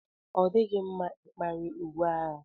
Ọ dịghị mma ikpari uwe agha